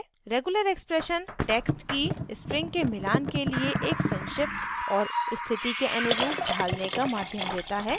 regular expression text की strings के मिलान के लिए एक संक्षिप्त और स्थिति के अनुरूप ढालने का माध्यम देता है